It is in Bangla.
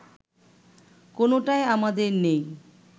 কোনটাই আমাদের নেই